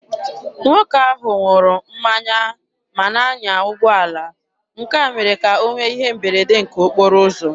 Nwoke ahụ ṅụrụ mmanya ma na-anya ụgbọala, nke a mere ka o nwee ihe mberede nke okporo ụzọ.